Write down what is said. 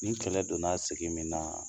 Ni kɛlɛ donna sigi min na